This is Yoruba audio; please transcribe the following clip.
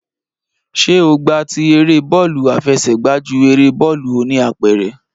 Ṣé o gba ti eré bọ́ọ̀lù àfẹsẹ̀gba ju eré bọ́ọ̀lù oníapẹ̀rẹ̀?